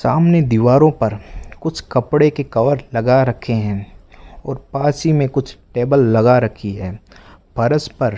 सामने दीवारों पर कुछ कपड़े के कवर लगा रखे हैं और पास ही में कुछ टेबल लगा रखी है फर्श पर --